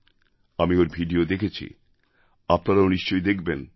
আমি ওই ভিডিও দেখেছি আপনারাও নিশ্চয় দেখবেন